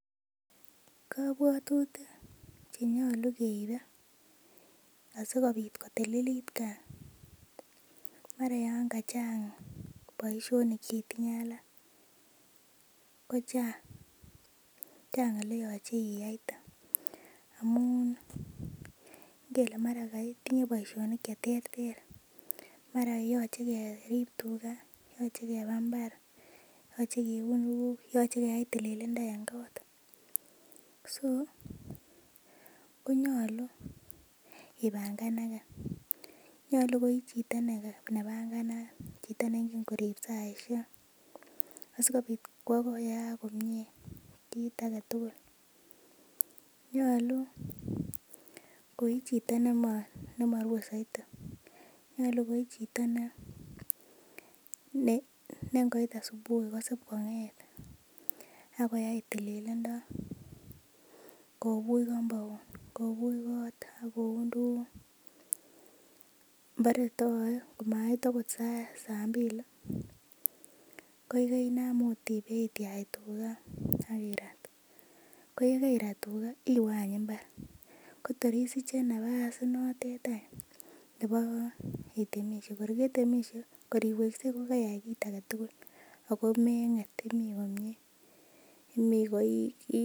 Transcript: Kobwotutik chenyolu keibe asikobit kotililit gaa mara yan kachang boisionik chetinye alak ko chang, chang oleyoche iyaite amun ngele mara ketinye boisionik cheterter mara yoche kerib tuga yoche keba mbar yoche kiun tuguk yoche keyai tililindo en kot so ko nyolu ibanganake nyolu ko ichito nebanganat chito neingen korib saisiek asikobit koyaak komie kit aketugul nyolu koi chito nemorue soiti, nyolu ko ichito ne ngoit asubuhi kosib kong'et akoyai tililindo kobuch compound kobuch kot akoun tuguk bore twoe komait okot saa mbili ko keinam ot ibeityach tuga ak irat ko yekeirat tuga iwe any mbar kotor isiche napas inotet any nebo itemisie, kor ketemisie kor iweksei ko keiyai kit aketugul ako meng'et imii komie, imii koikiim